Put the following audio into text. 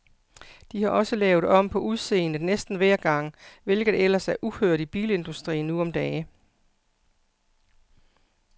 De har også lavet om på udseendet næsten hver gang, hvilket ellers er uhørt i bilindustrien nu om dage.